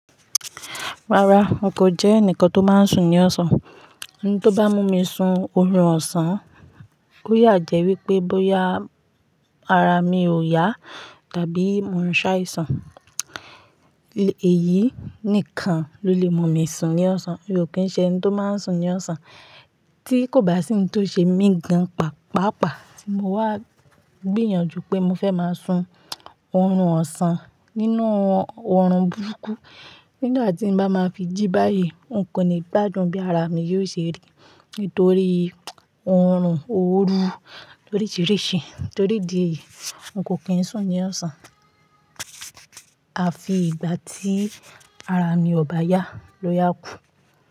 Rárá, n kò jẹ́ ẹnìkan tó máa ń sùn ní ọ̀sán. Ntó bá mú mi sun oorun ọ̀sán, ó yà jẹ́ wípé bóyá ara mi ò yá tàbí mò ń ṣàìsàn. Èyí nìkan ló lè mú mi sùn ní ọ̀sán, mi ò kí ń ṣe ẹni tó máa ń sùn ní ọ̀sán. Tíi kò bá sí ohun tó ṣe mí gan pàápàá tí mo wà gbìyànjú pé mo fẹ́ máa sùn oorun ọ̀sán nínú oorun burúkú. Nígbà tí n bá máa fi jí báyìí, n kò ní gbádùn bí ara mi yóò ṣe rí nítorí oorun oòru lóríṣiríṣi torí idi èyí, n kò kí ń sùn ní ọ̀sán. A fi ìgbà tí ara mi ò bá yá ló yáa kù.